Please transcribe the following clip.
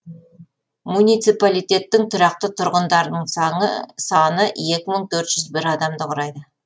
муниципалитеттің тұрақты тұрғындарының саны екі мың төрт жүз бір адамды құрайды